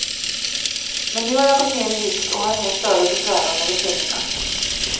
Men nu har jag gått ner i vikt och har inga större besvär av medicinerna.